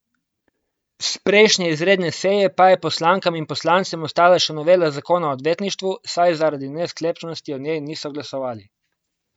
S prejšnje izredne seje pa je poslankam in poslancem ostala še novela zakona o odvetništvu, saj zaradi nesklepčnosti o njej niso glasovali.